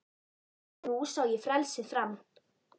Og nú sá ég frelsið fram